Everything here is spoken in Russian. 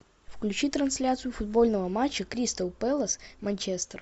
включи трансляцию футбольного матча кристал пэлас манчестер